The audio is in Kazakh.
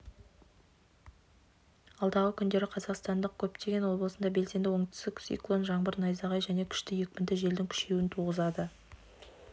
алдағы күндері қазақстанның көптеген облысында белсенді оңтүстік циклон жаңбыр найзағай және күшті екпінді желдің күшеюін туғызады